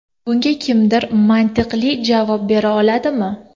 Bunga kimdir mantiqli javob bera oladimi?